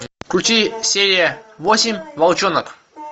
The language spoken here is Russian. включи серия восемь волчонок